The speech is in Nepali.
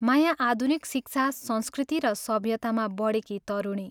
माया आधुनिक शिक्षा, संस्कृति र सभ्यतामा बढेकी तरुणी।